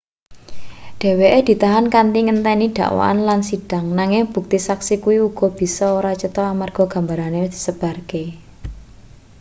dheweke ditahan kanthi ngenteni dakwaan lan sidhang nanging bukti saksi kuwi uga bisa ora cetho amarga gambare wis disebarke